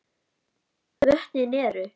Vötnin eru